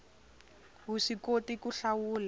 wu swi koti ku hlawula